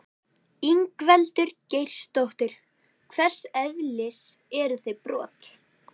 Ingveldur Geirsdóttir: Hvers eðlis eru þau brot?